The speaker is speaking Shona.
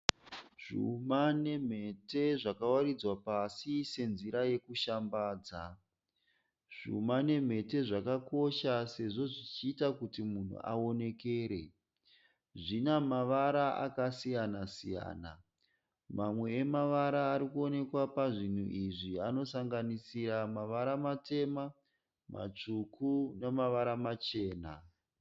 Zvuma nemhete zvakawaridzwa pasi senzira yekushambadza. Zvuma nemhete zvakakosha sezvo zvichiita kuti munhu aonekere. Zvina mavara akasiyana siyana. Mamwe emavara arikuoneka pazvinhu izvi anosanganisira mavara matema, matsvuku namavara machena.